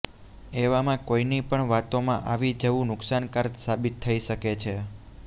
એવામાં કોઈની પણ વાતોમાં આવી જવું નુકસાનકારક સાબિત થઈ શકે છે